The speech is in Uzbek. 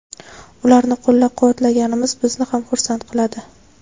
ularni qo‘llab-quvvatlaganimiz bizni ham xursand qiladi.